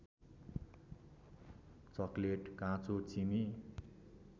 chocolate काँचो चिनी